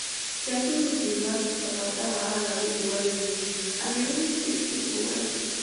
dem do meeting last week about that wahala wey dey worry women and e really teach people well